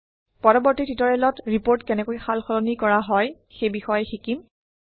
পৰৱৰ্তী টিউটৰিয়েলত ৰিপৰ্ট কেনেকৈ সাল সলনি কৰা হয় সেই বিষয়ে শিকিম